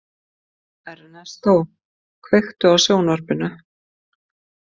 Ernestó, kveiktu á sjónvarpinu.